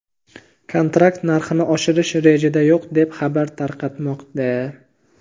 kontrakt narxini oshirish rejada yo‘q deb xabar tarqatmoqda.